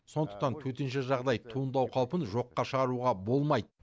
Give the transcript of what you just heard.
сондықтан төтенше жағдай туындау қаупін жоққа шығаруға болмайды